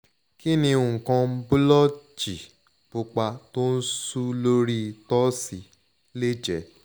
kini nkan blotchy pupa to su lori torso le je?